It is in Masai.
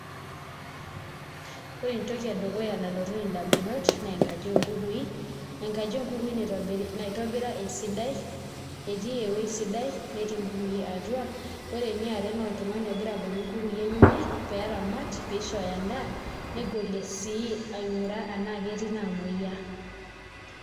Ore entoki edukuya nalotu ndamunot naa enkaji oonkukui, enkaji oonkukui naitobira esidai etii ewuei sidai netii nkukui atua ore eniare naa oltung'ani ogira abolu nkukui enyenak pee eramat pee isho endaa negolie sii aing'uraa enaa ketii inaamuoyiaa.